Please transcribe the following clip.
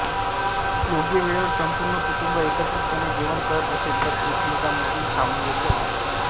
योग्य वेळेवर संपूर्ण कुटुंब एकत्रितपणे जेवण करत असेल तर एकमेकांमधील सामंजस्य वाढते